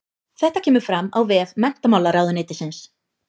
Þetta kemur fram á vef menntamálaráðuneytisins